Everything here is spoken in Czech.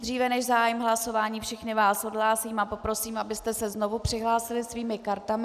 Dříve než zahájím hlasování, všechny vás odhlásím a poprosím, abyste se znovu přihlásili svými kartami.